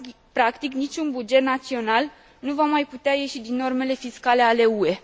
Practic, nici un buget național nu va mai putea ieși din normele fiscale ale UE.